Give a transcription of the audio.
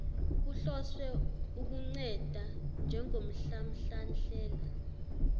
kuhloswe ukunceda njengomhlamhlandlela